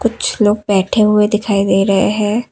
कुछ लोग बैठे हुए दिखाई दे रहे है।